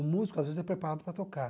O músico, às vezes, é preparado para tocar.